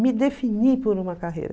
Me definir por uma carreira.